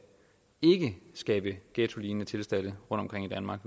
skabe ghettolignende tilstande rundtomkring i danmark